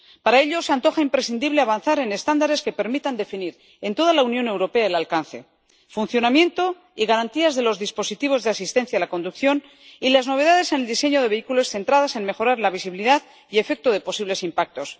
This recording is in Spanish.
Para ello se antoja imprescindible avanzar en estándares que permitan definir en toda la Unión Europea el alcance, el funcionamiento y las garantías de los dispositivos de asistencia a la conducción y las novedades en el diseño de vehículos centradas en mejorar la visibilidad y el efecto de posibles impactos.